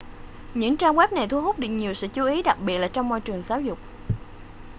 những trang web này thu hút được nhiều sự chú ý đặc biệt là trong môi trường giáo dục